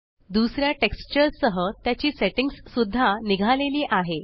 दुसऱ्या टेक्सचर सह त्याची सेट्टिंग्स सुद्धा निघालेली आहे